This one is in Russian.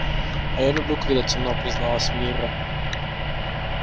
а я люблю когда темно призналась мирра